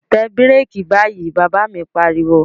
Tẹ bíràkì báyìí, Bàbá mi pariwo